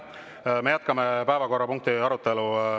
Me jätkame päevakorrapunktide arutelu.